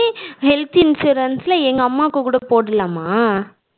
Health Insurance எங்க அம்மாவுக்கு கூட போடலாமா?